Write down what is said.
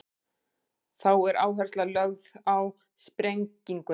þá er áhersla lögð á sprenginguna